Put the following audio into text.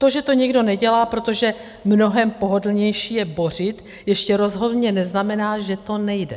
To, že to někdo nedělá, protože mnohem pohodlnější je bořit, ještě rozhodně neznamená, že to nejde.